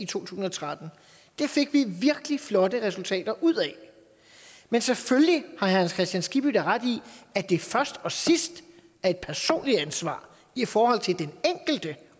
tusind og tretten det fik vi virkelig flotte resultater ud af men selvfølgelig har herre hans kristian skibby da ret i at det først og sidst er et personligt ansvar i forhold til den enkelte